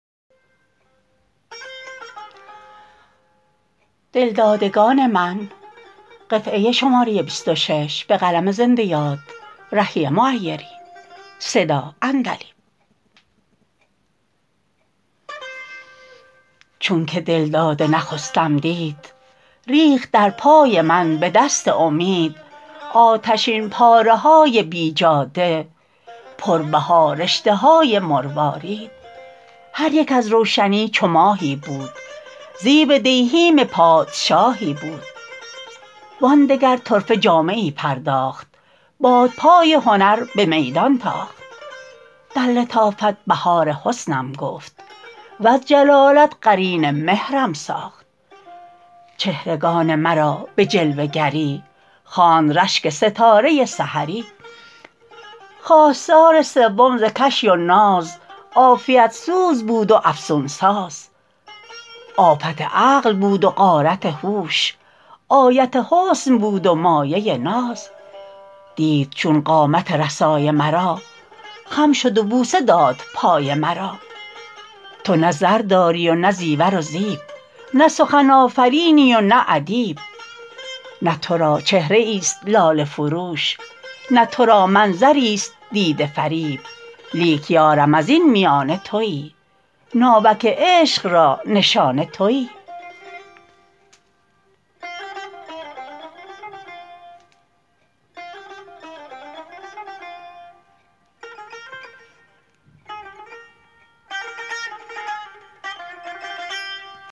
چون که دلداده نخستم دید ریخت در پای من به دست امید آتشین پاره های بی جاده پربها رشته های مروارید هریک از روشنی چو ماهی بود زیب دیهیم پادشاهی بود وآن دگر طرفه جامه ای پرداخت بادپای هنر به میدان تاخت در لطافت بهار حسنم گفت وز جلالت قرین مهرم ساخت چهرگان مرا به جلوه گری خواند رشک ستاره سحری خواستار سوم ز کشی و ناز عافیت سوز بود و افسون ساز آفت عقل بود و غارت هوش آیت حسن بود و مایه ناز دید چون قامت رسای مرا خم شد و بوسه داد پای مرا تو نه زر داری و نه زیور و زیب نه سخن آفرینی و نه ادیب نه تو را چهره ای است لاله فروش نه تو را منظری است دیده فریب لیک یارم از این میانه تویی ناوک عشق را نشانه تویی